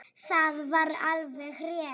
Það var alveg rétt.